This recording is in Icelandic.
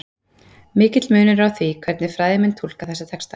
Mikill munur er á því hvernig fræðimenn túlka þessa texta.